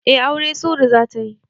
Eh aure Sury zatayi